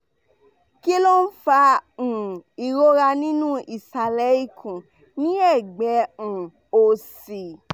kí ló ń fa um ìrora nínú isale ikun ni egbe um òsì?